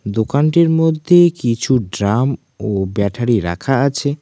দোকানটির মধ্যে কিছু ড্রাম ও ব্যাটারি রাখা আছে।